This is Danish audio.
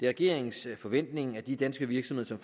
regeringens forventning at de danske virksomheder